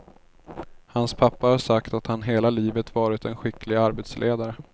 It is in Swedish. Hans pappa har sagt att han hela livet varit en skicklig arbetsledare.